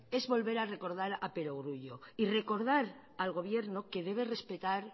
es volver a recordar a perogrullo y recordar al gobierno que debe respetar